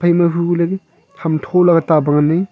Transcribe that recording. ma hu kohley ham thola ta pa ngan ai.